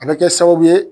A bɛ kɛ sababu ye